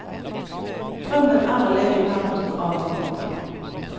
Drømmen er å leve i nærheten av hverandre.